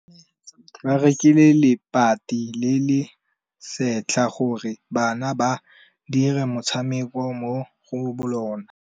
Ba rekile lebati le le setlha gore bana ba dire motshameko mo go lona.